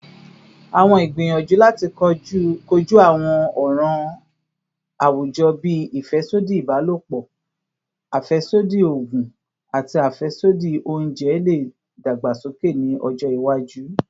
Awọn igbiyanju lati koju awọn ọran awujọ bii afẹsodi ibalopọ, afẹsodi oogun, ati afẹsodi ounjẹ le dagbasoke ni ọjọ iwaju